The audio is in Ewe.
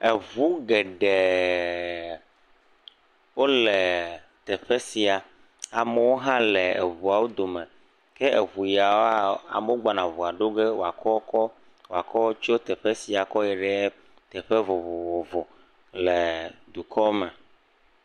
Eŋu geɖee wole teƒe sia, amewo hã le eŋuawo dome, ke eŋu yawoa, amewo gbɔna eŋua ɖo ge woakɔ kɔ woakɔ tso teƒe sia kɔ yi ɖe teƒe vovovo le dukɔ me.